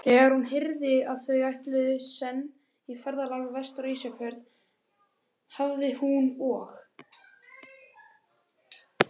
Þegar hún heyrði, að þau ætluðu senn í ferðalag vestur á Ísafjörð, hafi hún og